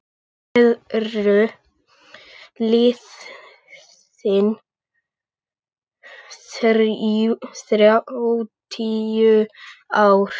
Síðan eru liðin þrjátíu ár.